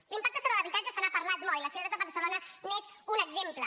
de l’impacte sobre l’habitatge se n’ha parlat molt i la ciutat de barcelona n’és un exemple